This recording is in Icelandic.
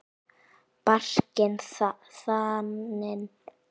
Barkinn þaninn.